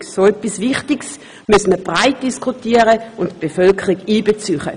So etwas Wichtiges müsse man breit diskutieren und die Bevölkerung einbeziehen.